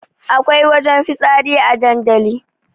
Akwai wajen fitsari a dandali